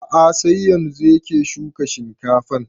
A'a sai yanzun yake shuka shinkafan